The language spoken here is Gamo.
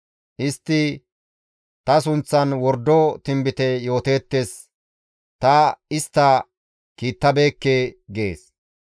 Istti ta sunththan wordo tinbite yooteettes ta istta kiittabeekke› gees.